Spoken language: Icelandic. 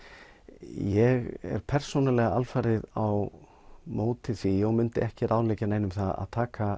ég er persónulega alfarið á móti því og myndi ekki ráðleggja neinum að taka